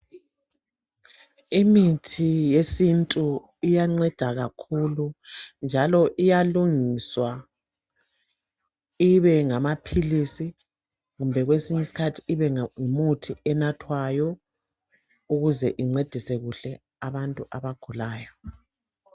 Imithi yesintu iyanceda kakhulu njalo iyalungiswa ibe ngama philisi kumbe kwesinye isikhathi ibe ngumuthi onathwayo ukuze incedise kuhle abantu abagulayo.